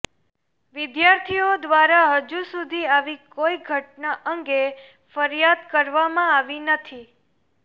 વિદ્યાર્થીઓ દ્વારા હજી સુધી આવી કોઈ ઘટના અંગે ફરિયાદ કરવામાં આવી નથી